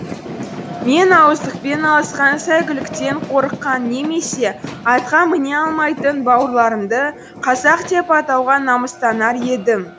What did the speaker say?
мен ауыздықпен алысқан сәйгүліктен қорыққан немесе атқа міне алмайтын бауырларымды қазақ деп атауға намыстанар едім